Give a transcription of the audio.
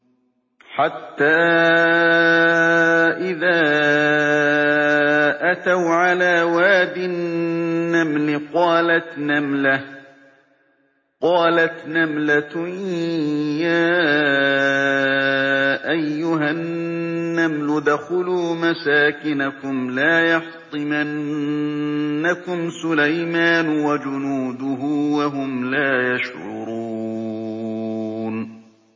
حَتَّىٰ إِذَا أَتَوْا عَلَىٰ وَادِ النَّمْلِ قَالَتْ نَمْلَةٌ يَا أَيُّهَا النَّمْلُ ادْخُلُوا مَسَاكِنَكُمْ لَا يَحْطِمَنَّكُمْ سُلَيْمَانُ وَجُنُودُهُ وَهُمْ لَا يَشْعُرُونَ